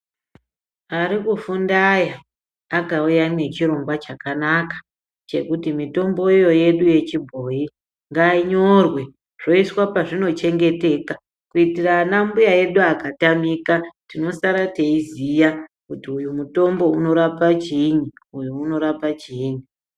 Arikufunda aya akauya nechirongwa chakanaka chekuti mitombo iyo yedu yechibhoyi ngainyorwe yoisa zvoiswa pazvinochengeteka kuitira anambuya akatamika tinosara teiziya kuti uyu mutombo unorapa chiini uyu unorapa chiini.